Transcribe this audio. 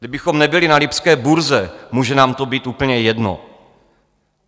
Kdybychom nebyli na lipské burze, může nám to být úplně jedno.